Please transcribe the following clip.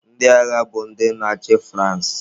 Ndị agha bụ ndị na-achị France.